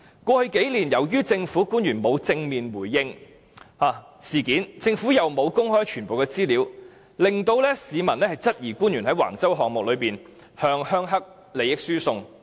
過去數年，由於政府官員沒有正面回應事件，政府又沒有公開全部資料，令市民質疑官員在橫洲項目中向"鄉黑"利益輸送。